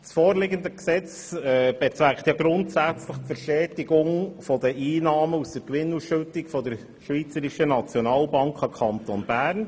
Das vorliegende Gesetz bezweckt grundsätzlich die Verstetigung der Einnahmen aus der Gewinnausschüttung der Schweizerischen Nationalbank an den Kanton Bern.